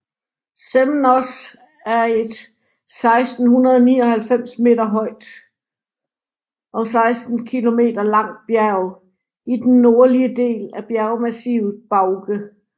Semnoz er et 1699 meter højt og 16 kilometer langt bjerg i den nordlige del af bjergmassivet Bauge